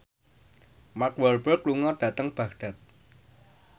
Mark Walberg lunga dhateng Baghdad